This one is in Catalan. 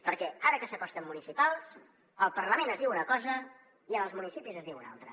perquè ara que s’acosten municipals al parlament es diu una cosa i en els municipis se’n diu una altra